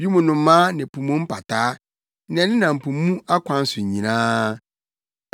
wim nnomaa ne po mu mpataa, nea ɛnenam po mu akwan so nyinaa.